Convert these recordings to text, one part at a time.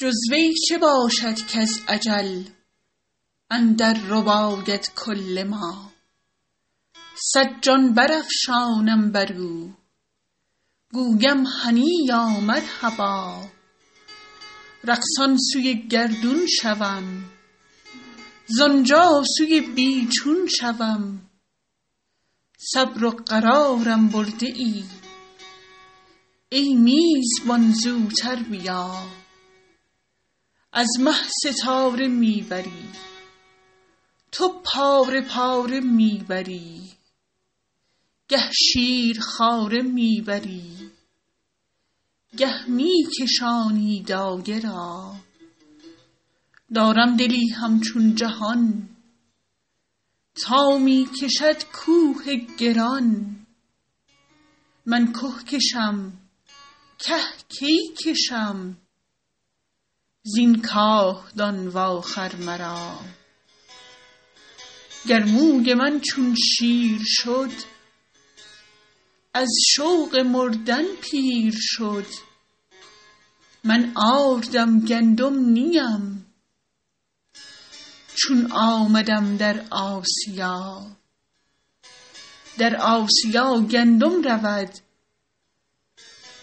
جز وی چه باشد کز اجل اندر رباید کل ما صد جان برافشانم بر او گویم هنییا مرحبا رقصان سوی گردون شوم زان جا سوی بی چون شوم صبر و قرارم برده ای ای میزبان زوتر بیا از مه ستاره می بری تو پاره پاره می بری گه شیرخواره می بری گه می کشانی دایه را دارم دلی همچون جهان تا می کشد کوه گران من که کشم که کی کشم زین کاهدان واخر مرا گر موی من چون شیر شد از شوق مردن پیر شد من آردم گندم نی ام چون آمدم در آسیا در آسیا گندم رود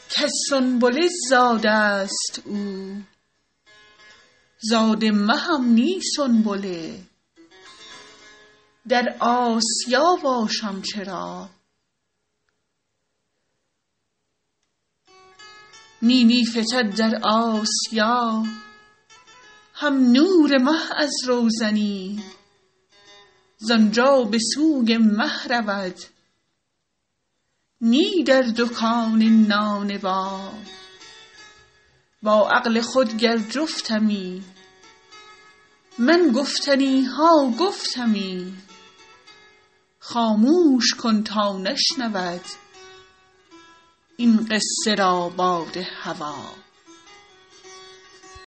کز سنبله زاده ست او زاده مهم نی سنبله در آسیا باشم چرا نی نی فتد در آسیا هم نور مه از روزنی زان جا به سوی مه رود نی در دکان نانبا با عقل خود گر جفتمی من گفتنی ها گفتمی خاموش کن تا نشنود این قصه را باد هوا